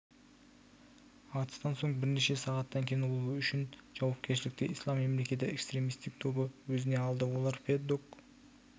атыстан соң бірнеше сағаттан кейін ол үшін жауапкершілікті ислам мемлекеті экстремистік тобы өзіне алды олар пэддок